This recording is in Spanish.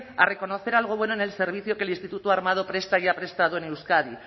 a reconocer algo bueno en el servicio que el instituto armado presta y ha prestado en euskadi